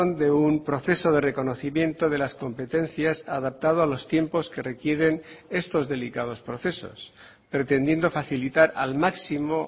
de un proceso de reconocimiento de las competencias adaptado a los tiempos que requieren estos delicados procesos pretendiendo facilitar al máximo